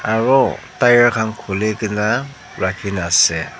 aro tyre khan khulikaene ase.